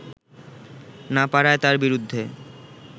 না পারায় তার বিরুদ্ধে